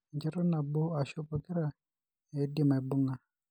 Enchoto nabo ashu pokira eidim aibung'a.